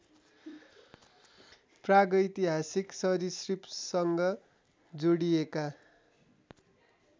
प्रागैतिहासिक सरीसृपसँग जोडिएका